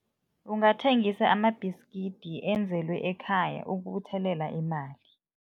Ungathengisa amabhiskidi enzelwe ekhaya ukubuthelela imali.